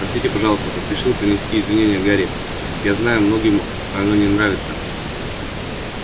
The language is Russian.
простите пожалуйста поспешил принести извинение гарри я знаю многим оно не нравится